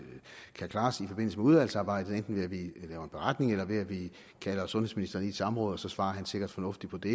kan klares i forbindelse med udvalgsarbejdet enten ved at vi laver en beretning eller ved at vi kalder sundhedsministeren i et samråd så svarer han sikkert fornuftigt på det